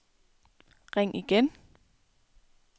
ring igen